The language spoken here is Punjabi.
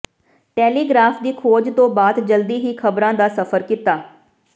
ਟੈਲੀਗ੍ਰਾਫ ਦੀ ਖੋਜ ਤੋਂ ਬਾਅਦ ਜਲਦੀ ਹੀ ਖ਼ਬਰਾਂ ਦਾ ਸਫ਼ਰ ਕੀਤਾ